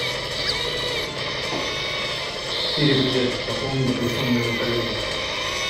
сири привет пополни телефон моего коллеги